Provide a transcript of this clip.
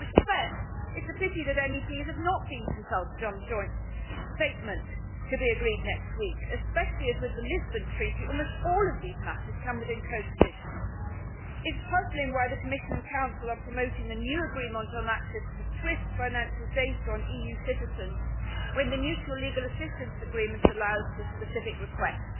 In that respect, it is a pity that MEPs have not been consulted on the joint statement to be agreed next week especially as, with the Lisbon Treaty, almost all of these matters come within codecision. It is puzzling why the Commission and Council are promoting a new agreement on access to SWIFT financial data on EU citizens when the Mutual Legal Assistance Agreement allows for specific requests.